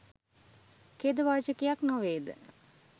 ඛේදවාචකයක් නොවේද?